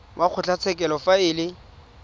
wa kgotlatshekelo fa e le